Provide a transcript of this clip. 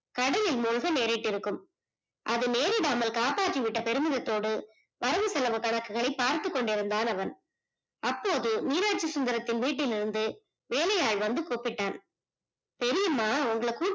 கடனில் மூழ்க நேரிட்டிருக்கும் அது நேரிடாமல் காப்பாத்தி விட்ட பெருமிதத்தோடு வரவு செலவு கணக்கை பார்த்துகொண்டிருந்தான் அவன் அப்போது மீனாச்சிசுந்தரத்தின் வீட்டிலிருந்து வேலை ஆள் வந்து கூப்பிட்டான் தெரியுமா உங்கள